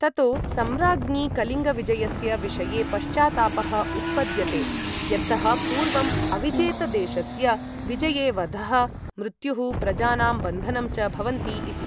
ततो सम्राज्ञि कलिङ्गविजयस्य विषये पश्चात्तापः उत्पद्यते, यतः पूर्वं अविजेतदेशस्य विजये वधः, मृत्युः, प्रजानां बन्धनं च भवन्ति इति।